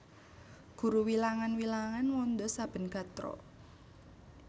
Guru wilangan wilangan wanda saben gatra